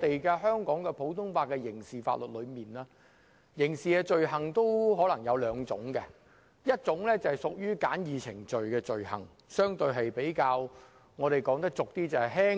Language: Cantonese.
在香港普通法的刑事法律中，刑事罪行大致可分為兩種，一種是屬於可按簡易程序治罪的罪行，說得通俗點即較輕